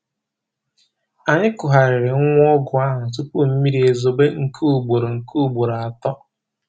Anyị kugharịrị nwa ụgụ ahụ tupu mmiri ezobe nke ugboro nke ugboro atọ